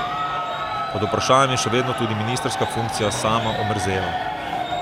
Pod vprašajem je še vedno tudi ministrska funkcija Sama Omerzela.